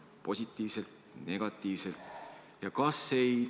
Positiivselt või negatiivselt?